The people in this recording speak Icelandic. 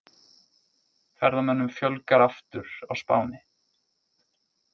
Ferðamönnum fjölgar aftur á Spáni